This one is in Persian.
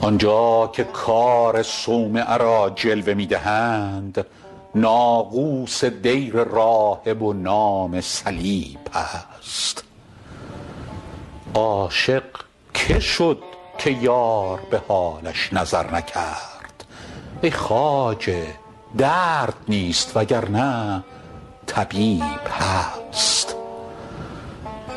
آن جا که کار صومعه را جلوه می دهند ناقوس دیر راهب و نام صلیب هست عاشق که شد که یار به حالش نظر نکرد ای خواجه درد نیست وگرنه طبیب هست